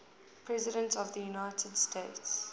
presidents of the united states